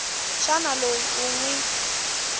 xana loyi u n wi